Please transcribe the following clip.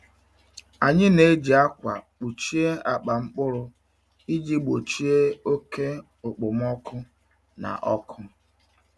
Anyị na-eji akwa kpuchie akpa mkpụrụ iji gbochie oke okpomọkụ na ọkụ.